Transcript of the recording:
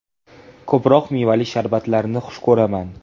Ko‘proq mevali sharbatlarni xush ko‘raman.